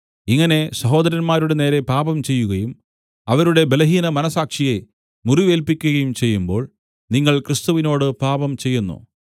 ഇങ്ങനെ സഹോദരന്മാരുടെ നേരെ പാപംചെയ്യുകയും അവരുടെ ബലഹീന മനസ്സാക്ഷിയെ മുറിവേൽപ്പിക്കുകയും ചെയ്യുമ്പോൾ നിങ്ങൾ ക്രിസ്തുവിനോട് പാപം ചെയ്യുന്നു